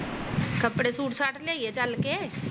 ਕੱਪੜੇ ਸੂਟ ਸਾਟ ਲਿਆਈਏ ਚੱਲ ਕੇ।